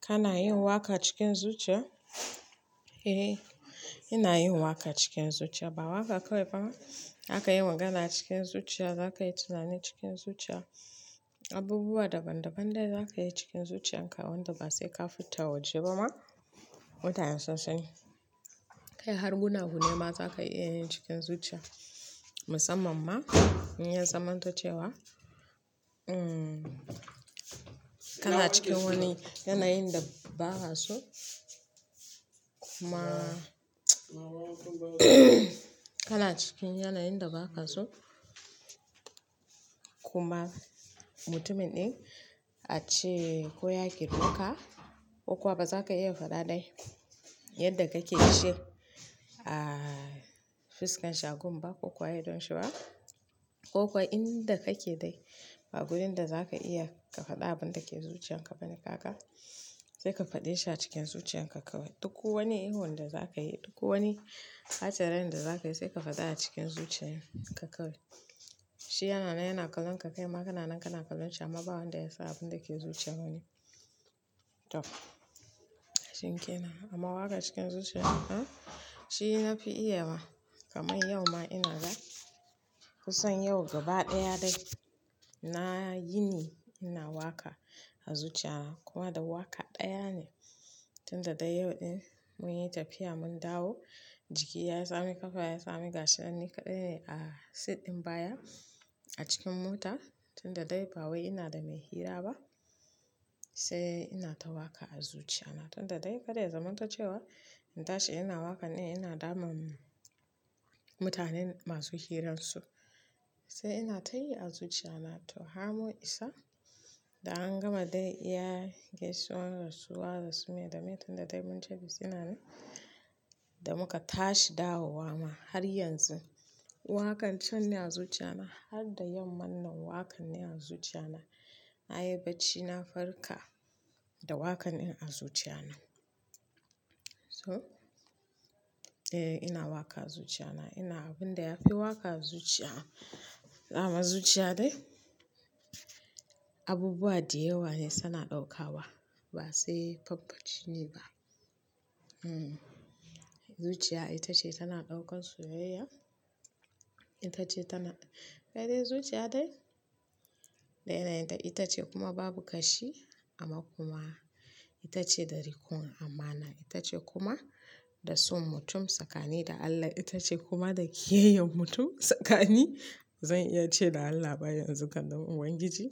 Kana yin waka cikin zuciya? Eh, ina yin waka cikin zuciya. Ba waka kawai ba, aka yi magana cikin zuciya, za ka yi tunani cikin zuciya. Abubuwa daban-daban dai za ka yi cikin zuciyan ka, wanda ba sai ka fita waje ba ma. Mutanen sunsa ni. Kai har gunagune ma za ka iya yi cikin zuciya. Musamman ma in yi zaman tocewa, kana cikin wani yana yin da ba ka so kuma kana cikin yana yin da ba ka so kuma mutumin ɗin a ce ko ya gir meka ko kuma ba za ka iya faɗa dai yadda kake shi. Aaa, fuskan shagon ba ko kuma a idon shi ba koko inda kake dai ba gurin da zaka iya ka faɗi abinda ke zuciyarka bane kaga sai ka faɗi shi a cikin zuciyan ka kawai. Duk wani ihun da za ka yi, duk wani hatsarin da za ka yi sai ka faɗa a cikin zuciyan ka kawai. Shi yana nan yana kalon ka, kai ma kana nan kana kalon shi amma ba wanda ya san abin da ke zuciyar wani. To, shinkenan. Amma waka cikin zuciya haka shi na fi iya wa kamar yau ma ina da kusan yau gaba ɗaya dai na yini ina waka a zuciya na kuma da waka ɗaya ne. Tunda dai yau ɗin mun yi tafiya mun dawo jiki ya tsami ƙafa ya tsami gashi ɗani kaɗai ne a sit ɗin baya a cikin mota. Tunda dai bawai inada mai hira ba sai inata waka a zuciyana tunda dai kar ya zamanto in tashi ina waka ina damun mutane masu hiransu sai inatayi acikin zuciyana. To, har mun isa da an gama dai iya gaisuwan rasuwa da su mai da mai tunda dai mun tafi Katsna ne da muka tashi dawowa ma har yanzun wakan cen ne a zuciya na har da yamma nan wakan ne a zuciya na. Na yi bacci na farka da wakan in a zuciya na. So? Eh ina waka a zuciya na ina abin da ya fi waka a zuciya. Daman zuciya dai abubuwa da yawa ne suna ɗauka wa ba sai famfajiji ne ba. Hmm, zuciya ita ce tana ɗaukan soyayya, itace tana kaidai zuciya dai da yanayinta itace kuma babu kashi amma kuma itace da rikon amana itace kuma da son mutum tsakani da Allah itace kuma da kiyayyan mutum tsakani. Zan iya ce da Allah baya yanzu kam dan Ubangiji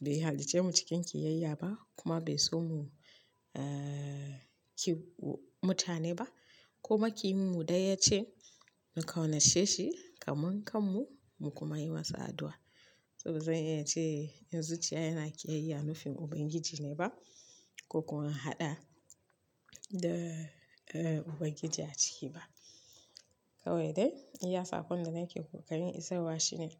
bai halicce mu cikin kiyayya ba kuma bai so mu, aa, ki mutane ba kuma ki yin mu daya ce mu ƙaunace shi kamar kanmu mu kuma yi masa addu'a. Saboda zan iyace zuciya yana kiyayya nufin ubangiji ne ba ko kuma in haɗa da ubangiji aciki ba. Kawai dai iya sa kon da nake ko ka rin isarwa shi ne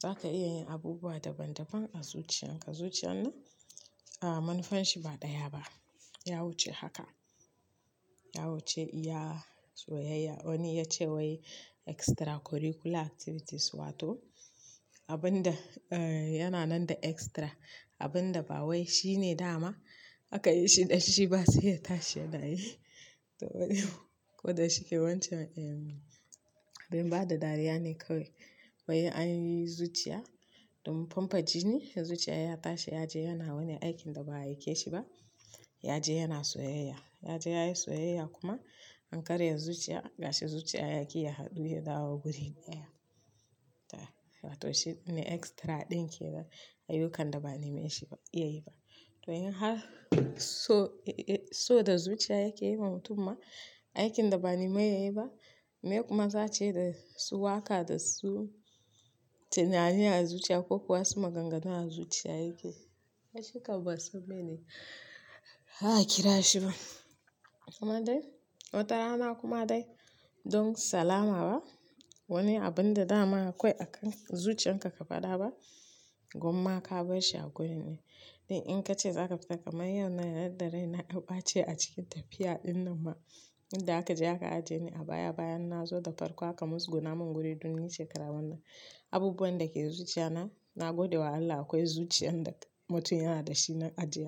za ka iya yin abubuwa daban-daban a zuciyan ka. Zuciyan na a manufanshi ba ɗaya ba. Ya wuce haka. Ya wuce iya soyayya. Wani ya ce wai extracurricular activities wato abun da, eh, yana nan da extra abun da ba wai shi ne dama aka yi shi da shi ba sai ya tashi ya nayi. To, wani ko da shike wancan, eh, abin ba da dariya ne kawai. Wai an yi zuciya don famfajini ne zuciya ya tashi ya je yana wani aikin da ba a aike shi ba. Ya je yana soyayya. Ya je ya yi soyayya kuma an karya zuciya gashi zuciya yaki ya haɗu ya dawo guri ɗaya. To, shi ne extra ɗin ke da ayyukan da ba ne mai shi iya yi ba. To, in har so, so da zuciya yake yi ma mutum ma aikin da ba ne mai ya yi ba mai kuma za ce da su waka da su tunani a zuciya ko kuwa su maganganu a zuciya yake. Harshe kawai sabone ba a kira shi ba. Kuma dai watarana kuma dai don salama ba wani abun da dama akwai a kan zuciyan ka ka faɗa ba gumma ka bai shi a gurin ne. Duk in kace zaka fita kaman yaunan yanda aka ɓace acikin tafiya ɗinnan ma yanda akaje aka ajiyeni a baya bayan nazo dafarko aka musguna min guri don nice karama. Abubuwan da ke zuciya na, na gode wa Allah akwai zuciyan da mutum yana da shi na ajiye.